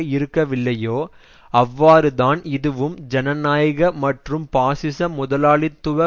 இருக்கவில்லையோ அவ்வாறுதான் இதுவும் ஜனநாயக மற்றும் பாசிச முதலாளித்துவ